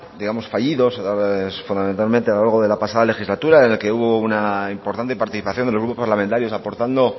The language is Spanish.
digamos fallidos a la hora de fundamentalmente a lo largo de la pasada legislatura en la que hubo una importante participación de los grupos parlamentarios aportando